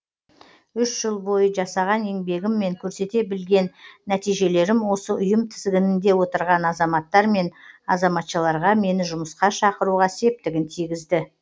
үш жыл бойы жасаған еңбегім мен көрсете білген нәтижелерім осы ұйым тізгінінде отырған азаматтар мен азаматшаларға мені жұмысқа шақыруға септігін тигізді